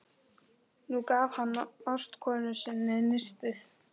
Nú gaf hann ástkonu sinni nistið.